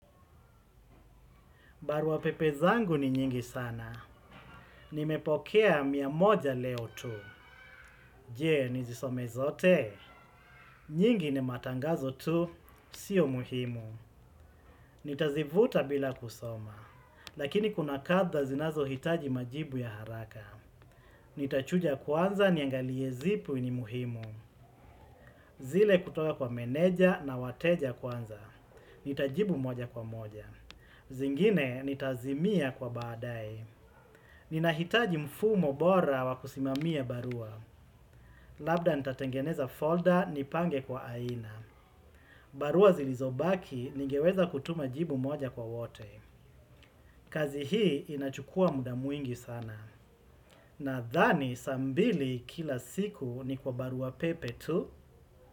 Barua pepe zangu ni nyingi sana. Nimepokea mia moja leo tu. Jee, nizisome zote. Nyingi ni matangazo tu, sio muhimu. Nitazivuta bila kusoma. Lakini kuna kadha zinazo hitaji majibu ya haraka. Nitachuja kwanza niangalie zipi ni muhimu. Zile kutoka kwa meneja na wateja kwanza. Nitajibu moja kwa moja. Zingine, nitazimia kwa baadaye. Nina hitaji mfumo bora wa kusimamia barua. Labda nitatengeneza folder ni pange kwa aina. Barua zilizobaki ningeweza kutuma jibu moja kwa wote. Kazi hii inachukua muda mwingi sana. Nadhani saa mbili kila siku ni kwa barua pepe tu.